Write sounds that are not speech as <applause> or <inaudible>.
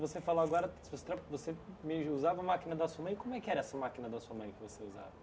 Você falou agora, <unintelligible> você meio já usava a máquina da sua mãe, como é que era essa máquina da sua mãe que você usava?